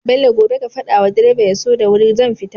Bello gobe ka fada wa driver yaso da wuri zan fita